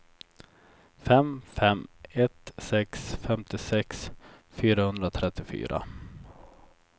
fem fem ett sex femtiosex fyrahundratrettiofyra